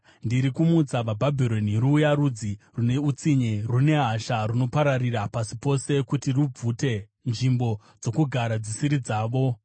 Ndiri kumutsa vaBhabhironi ruya rudzi rune utsinye, rune hasha, runopararira pasi pose kuti rubvute nzvimbo dzokugara dzisiri dzavo.